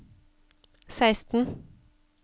seksten